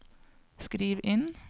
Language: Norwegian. skriv inn